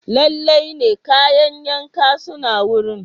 Lalle ne, kayan yanka suna wurin.